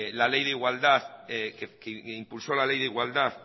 la ley de igualdad que impulso la ley de igualdad